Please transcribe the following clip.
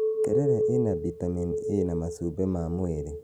Terere ĩna bitameni A na macumbĩ ma mwĩrĩ